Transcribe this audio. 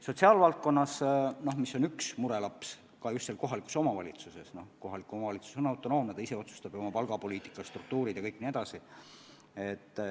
Sotsiaalvaldkond on üks murelaps ka kohalikes omavalitsustes, aga kohalik omavalitsus on autonoomne, ta ise otsustab oma palgapoliitika, struktuurid ja kõik nii edasi.